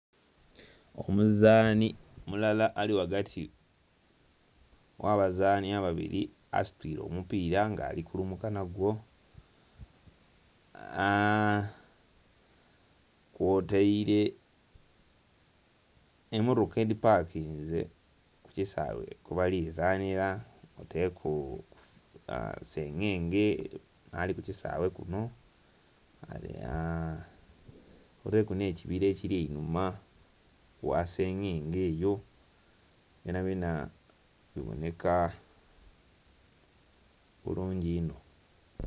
Omuzani mulala ali ghagati ghabazani babiri asitwire omupira nga alikulumuka nagwo aa.. kw'otaire emotoka edhi pakinze kukisawe ghebali zanira kw'otaire ku sengenge ali kukisawe kuno aa ghaligho ku n'ekibira ekiri einhuma gha sengenge byonabyona kiboneka bulungi inho.